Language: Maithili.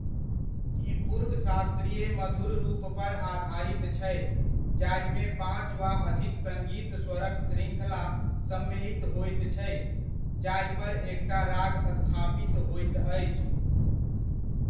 ई पूर्व शास्त्रीय मधुर रूपपर आधारित छै जाहिमे पाँच वा अधिक सङ्गीत स्वरक शृङ्खला सम्मिलित होइत छै, जाहिपर एकटा राग स्थापित होइत अछि।